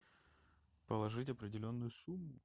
положить определенную сумму